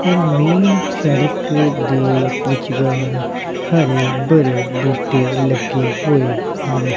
ਔਰ ਮੇਨ ਸ਼ੜਕ ਦੇ ਵਿਚਗਾਰ ਹਰੇ ਭਰੇ ਬੂਟੇ ਲੱਗੇ ਹੋਏ ਹਨ।